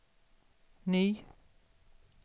ny